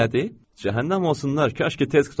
Cəhənnəm olsunlar, kaş ki tez qurtaraydı.